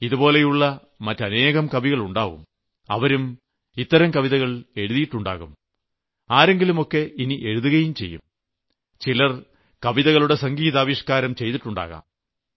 ഇതുപോലുള്ള മറ്റനേകം കവികൾ ഉണ്ടാകും അവരും ഇത്തരം കവിതകൾ എഴുതിയിട്ടുണ്ടാകും ആരെങ്കിലുമൊക്കെ ഇനി എഴുതുകയും ചെയ്യും ചിലർ കവിതകളുടെ സംഗീതാവിഷ്ക്കാരം ചെയ്തിട്ടുണ്ടാകും